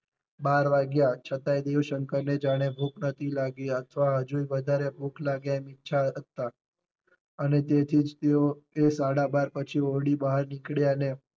બાર વાગ્યા છતાંય દેવશંકર ને જાણે ભૂખ નતી લાગી અથવા હજુ વધારે ભૂખ લાગે એમ ઇચ્છતા હતા અને તેથી જ તેઓ એ સાડા બાર પછી ઓરડી બહાર નીકળ્યા ને